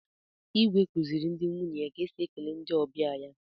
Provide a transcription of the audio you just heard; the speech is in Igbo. Igwe kuziri ndi nwunye ya ka esi ekele ndị ọbịa ya.